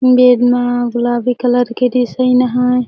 बेड म गुलाबी कलर के दिसाइन हैं।